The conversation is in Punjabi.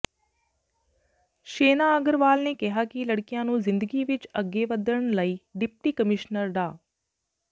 ਸ਼ੇਨਾ ਅਗਰਵਾਲ ਨੇ ਕਿਹਾ ਕਿ ਲੜਕੀਆਂ ਨੂੰ ਜ਼ਿੰਦਗੀ ਵਿਚ ਅੱਗੇ ਵਧਣ ਲਈਡਿਪਟੀ ਕਮਿਸ਼ਨਰ ਡਾ